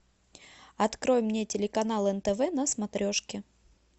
открой мне телеканал нтв на смотрешке